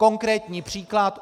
Konkrétní příklad.